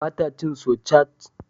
Ba ta cin sosaj?